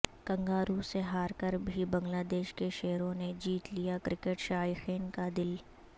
کنگارووں سے ہارکربھی بنگلہ دیش کے شیروں نے جیت لیا کرکٹ شائقین کا دل